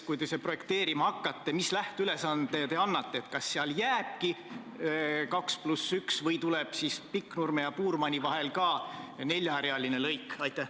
Kui te seda projekteerima hakkate, mis lähteülesande te annate: kas seal jääbki 2 + 1 sõidurada või tuleb Pikknurme ja Puurmani vahel ka neljarealine lõik?